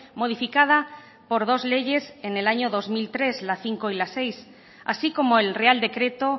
modificada por dos leyes en el año dos mil tres la cinco y la seis así como el real decreto